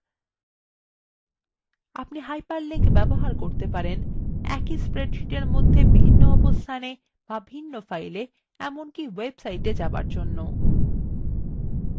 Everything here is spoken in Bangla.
আপনি hyperlinks ব্যবহার করতে পারেন